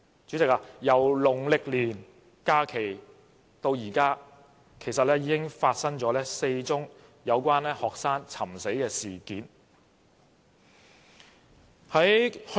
主席，在農曆年假期後，已經發生4宗有關學生尋死的事件。